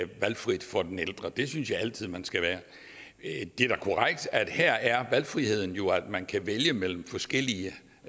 valgfrit for den ældre det synes jeg altid man skal være det er da korrekt at her er valgfriheden jo at man kan vælge mellem forskellige